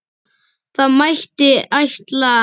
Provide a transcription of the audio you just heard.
Það mætti ætla.